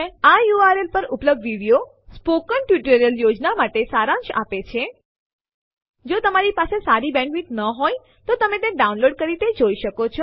આ યુઆરએલ પર ઉપલબ્ધ વિડિયો મૌખિક ટ્યુટોરીયલ યોજના માટે સારાંશ આપે છે જો તમારી પાસે સારી બેન્ડવિડ્થ ન હોય તો તમે તે ડાઉનલોડ કરી જોઈ શકો છો